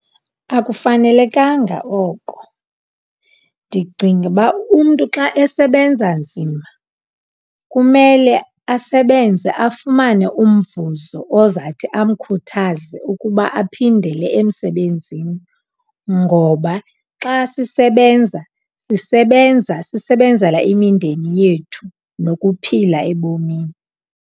Akufanelekanga oko. Ndicinga uba umntu xa esebenza nzima kumele asebenze afumane umvuzo ozawuthi amkhuthaze ukuba aphindele emsebenzini, ngoba xa sisebenza, sisebenza sisebenzela imindeni yethu nokuphila ebomini.